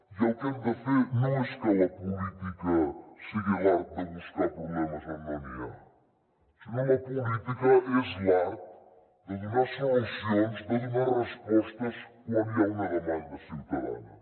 i el que hem de fer no és que la política sigui l’art de buscar problemes on no n’hi ha sinó que la política és l’art de donar solucions de donar respostes quan hi ha una demanda ciutadana